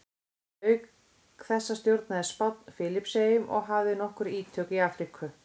Auk þessa stjórnaði Spánn Filippseyjum og hafði nokkur ítök í Afríku.